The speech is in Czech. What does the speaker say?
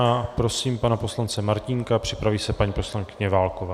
A prosím pana poslance Martínka, připraví se paní poslankyně Válková.